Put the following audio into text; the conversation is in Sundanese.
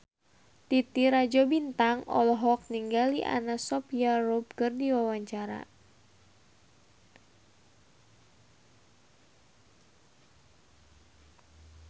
Titi Rajo Bintang olohok ningali Anna Sophia Robb keur diwawancara